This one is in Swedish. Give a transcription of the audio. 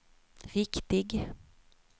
riktig